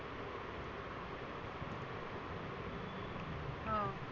हं